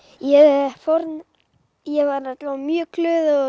ég ég var allavega mjög glöð og